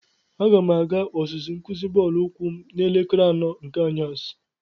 Aga m aga ọzụzụ nkuzi bọọlụ ukwu m n'elekere anọ nke anyasi.